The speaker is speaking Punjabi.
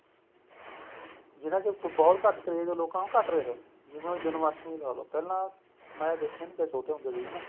ਜਿਹੜਾ ਕਿ ਬਹੁਤ ਘੱਟ craze ਲੋਕਾਂ ਨੂੰ ਘੱਟ ਰਿਹਾ ਜਿਵੇਂ ਹੁਣ ਜਨਮਾਸ਼ਟਮੀ ਲਾ ਲੋ ਪਹਿਲਾਂ ਮੈਂ ਦੇਖਿਆ ਛੋਟੇ ਹੁੰਦੇ ਸੀ ਹਨਾ